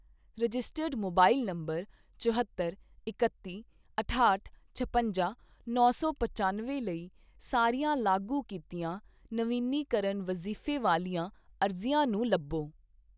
Registered mobile number ਚੁਹੱਤਰ ਇਕੱਤੀ ਅਠਾਹਠ ਛਪੰਜਾ ਨੌਂ ਸੌ ਪਚਾਨਵੇਂ ਲਈ ਸਾਰੀਆਂ ਲਾਗੂ ਕੀਤੀਆਂ ਨਵੀਨੀਕਰਨ ਵਜ਼ੀਫੇ ਵਾਲੀਆਂ ਅਰਜ਼ੀਆਂ ਨੂੰ ਲੱਭੋ।